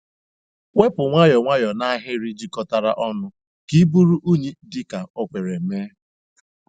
Wepu nwayọọ nwayọọ na n'ahịrị jikọtara ọnụ ka iburu unyi dị ka o kwere mee.